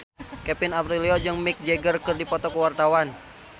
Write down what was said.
Kevin Aprilio jeung Mick Jagger keur dipoto ku wartawan